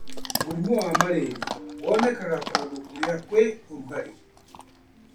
Mũrimũ wa marĩria wonekanaga kũndũ kũrĩa kwĩ ũrugarĩ